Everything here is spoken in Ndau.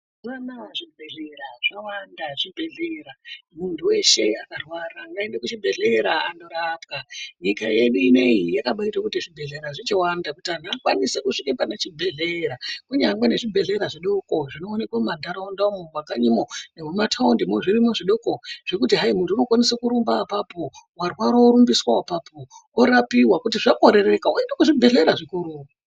Mazuva anaya zvibhedhlera zvawanda zvibhedhlera muntu veshe akarwara ngaende kuzvibhedhlera andorapwa. Nyika yedu inoiyi yakabaita kuti zvibhedhlera zvedu zvichiwanda kuti antu akwanise kusvika panechibhedhlera. Kunyangwe nezvibhedhlera zvidoko zvinoneke mumantaraunda umu mumakanyimo nemumataundimo zviro zvidoko zvekuti hai muntu unokwanise kurumba apapo varwara vorumbiswa apapo, orapiva kuti zvakorereka voendeswa kuzvibhedhlera zvikuru.